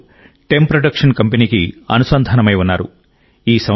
వారిద్దరూ టెమ్ ప్రొడక్షన్ కంపెనీకి అనుసంధానమై ఉన్నారు